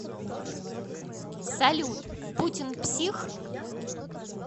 салют путин псих